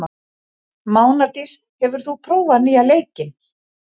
Mánadís, hefur þú prófað nýja leikinn?